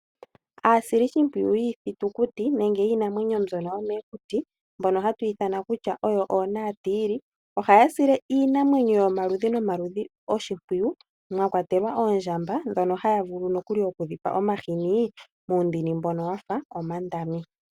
Aasilishipwiyu yiithitikuti nenge yiinamwenyo mbyono yomokuti mbono ha tu ithana kutya oonaatiili ohaya sile iininamwenyo yomaludhi nomaludhi oshimpwiyu mwakwatelwa oondjamba ndhono haya vulu nokuli okudhipa omahini muundini mboka wafa omandami.